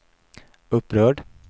upprörd